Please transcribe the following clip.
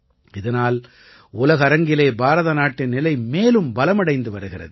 இதனால் உலக அரங்கிலே பாரத நாட்டின் நிலை மேலும் பலமடைந்து வருகிறது